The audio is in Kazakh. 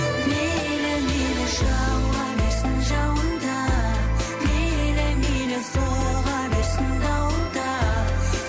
мейлі мейлі жауа берсін жауын да мейлі мейлі соға берсін дауыл да